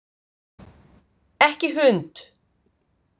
Ekki hund!